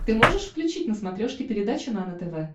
ты можешь включить на смотрешке передачу нано тв